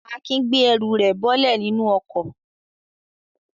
Akin gbé ẹrù rẹ̀ bọ́lẹ̀ nínú ọkọ̀.